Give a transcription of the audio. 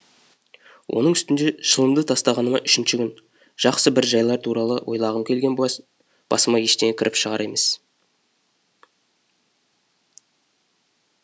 оның үстіне шылымды тастағаныма үшінші күн жақсы бір жайлар туралы ойлағым келген басыма ештеңе кіріп шығар емес